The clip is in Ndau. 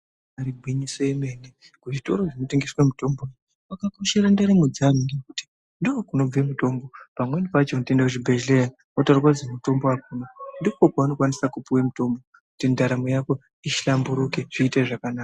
Ibayiri gwinyiso remene kuzvitoro zvinotengeserwa mutombo kwakakoshera ndaramo dzevanhu ngekuti ndoo kunobve mutombo pamweni pacho unotoenda kuchibhedhleya wotaurirwe kuzi mutombo akuna ndiko kwaanokwanisa kupiwe mutombo kuti ndaramo yawo ihlamburuke iite zvakanaka.